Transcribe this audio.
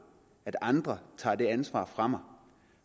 at andre tager det ansvar fra mig